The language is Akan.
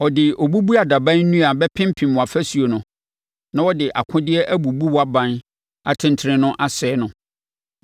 Ɔde obubuadaban nnua bɛpempem wʼafasuo no, na ɔde akodeɛ abubu wʼaban atentene no asɛe no.